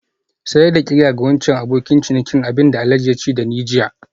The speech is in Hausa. Sayar da qirya ga wancan abokin ciniki abin da Alhaji ya ce da ni jiya